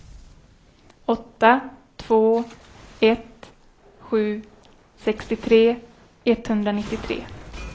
åtta två ett sju sextiotre etthundranittiotre